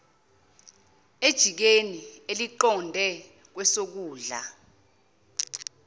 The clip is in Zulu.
ejikeni eliqonde kwesokudla